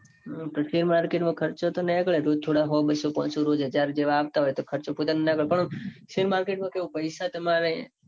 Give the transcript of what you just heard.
પણ share market માં ખર્ચો તો નીકળે. રોજ થોડા સો બસો પોંચસો રોજ હજાર જેવા આવતા હોય. તો ખર્ચો પોતાનો નીકળે. પણ share market માં કેઉં પૈસા તમારે